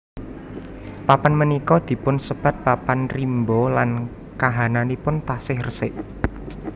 Papan punika dipun sebat papan rimba lan kahananipun taksih resik